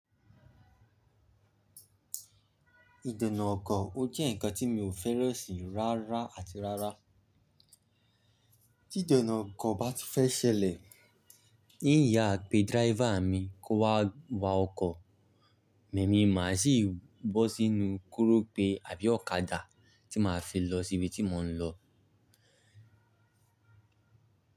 Ìdènà ọkọ̀ ó jẹ́ ǹkan tí mi ò fẹ́ran sí rárá àti rárá. Tí ìdènà ọkọ̀ bá ti fẹ́ ṣẹlẹ̀, in yà pé driver mi kó wá wa ọkọ̀, èmi máa sì bọ́ sínú korope àbí ọ̀kadà tí màá fi lọ síbi tí mò ń lọ.